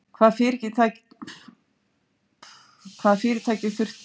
Hvaða fyrirtæki þurfti að afskrifa mest af?